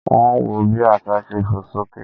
Wọ́n ń wọ bí àsá ṣe fò sókè